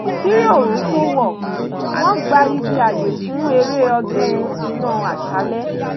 kí òòrùn tó wọ̀ wọ́n gbá ibi ààyè fún eré ọdún iná àṣálẹ́